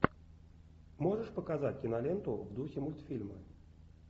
можешь показать киноленту в духе мультфильма